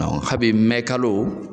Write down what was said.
Ɔn habi mɛnkalo